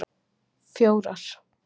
fjórar